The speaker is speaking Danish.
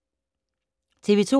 TV 2